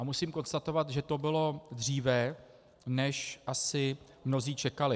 A musím konstatovat, že to bylo dříve, než asi mnozí čekali.